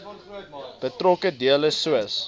betrokke dele soos